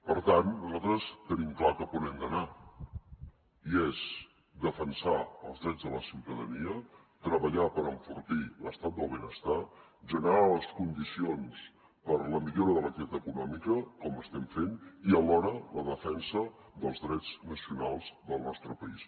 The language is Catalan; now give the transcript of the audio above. per tant nosaltres tenim clar cap on hem d’anar i és defensar els drets de la ciutadania treballar per enfortir l’estat del benestar generar les condicions per la millora de l’activitat econòmica com estem fent i alhora la defensa dels drets nacionals del nostre país